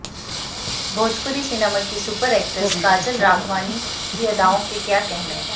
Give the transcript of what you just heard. Bhojpuri cinema की superhit actress Kajal Raghwani की अदाओं के क्या कहने